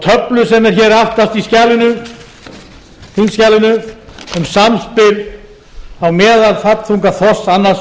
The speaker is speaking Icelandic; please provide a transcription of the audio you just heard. töflu sem er hér aftast í þingskjalinu um samspil á meðalfallþunga þorsks annars